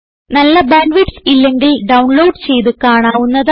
നല്ല bandwidth ഇല്ലെങ്കിൽ download ചെയ്ത് കാണാവുന്നതാണ്